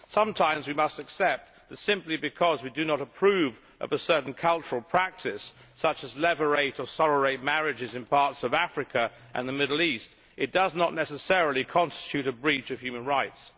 Sometimes we must accept that simply because we do approve of a certain cultural practice, such as levirate or sororate marriages in parts of Africa and the Middle East, it does not necessarily constitute a breach of human rights.